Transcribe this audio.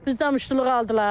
Bizdən muştuluq aldılar.